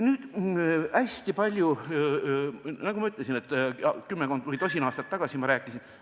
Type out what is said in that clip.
Nüüd, nagu ma ütlesin, kümme kuni tosin aastat tagasi ma rääkisin ...